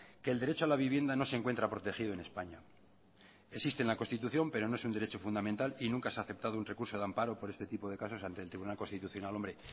que el derecho a la vivienda no se encuentra protegido en españa existe en la constitución pero no es un derecho fundamental y nunca se ha aceptado un recurso de amparo por este tipo de casos ante el tribunal constitucional hombre